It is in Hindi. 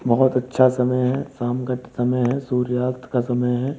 बोहोत अच्छा समय है। शाम का समय है। सूर्यास्त का समय है।